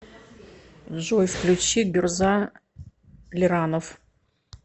джой включи гюрза лиранов